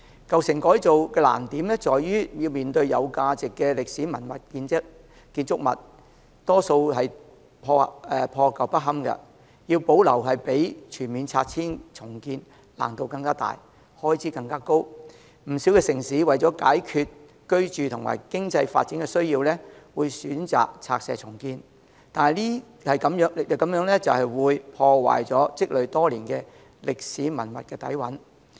舊城改造的難處在於具價值的歷史建築物大多數破舊不堪，要保留比全面拆除重建的難度更大，開支更高，不少城市為解決居住和經濟發展的需要，會選擇拆卸重建，但這樣會破壞積累多年的歷史文化底蘊。